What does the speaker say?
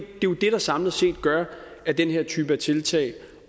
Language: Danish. jo det der samlet set gør at den her type tiltag